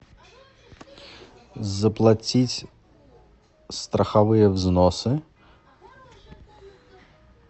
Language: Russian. заплатить страховые взносы